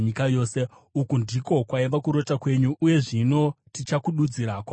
“Uku ndiko kwaiva kurota kwenyu, uye zvino tichakududzira kwamuri mambo.